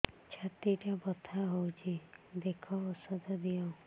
ଛାତି ଟା ବଥା ହଉଚି ଦେଖ ଔଷଧ ଦିଅ